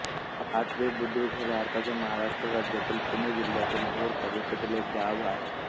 हातवेबुद्रुक हे भारताच्या महाराष्ट्र राज्यातील पुणे जिल्ह्यातील भोर तालुक्यातील एक गाव आहे